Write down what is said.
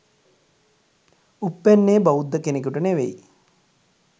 උප්පැන්නේ බෞද්ධ කෙනෙකුට නෙවෙයි